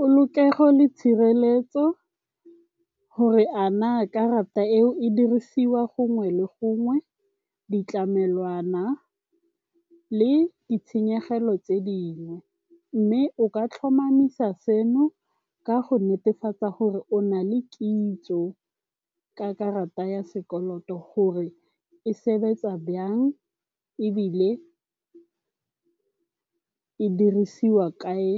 Polokego le tshireletso gore a na karata eo e dirisiwa gongwe le gongwe, ditlamelwana le ditshenyegelo tse dingwe. Mme o ka tlhomamisa seno ka go netefatsa gore o na le kitso ka karata ya sekoloto gore e sebetsa jang ebile e dirisiwa kae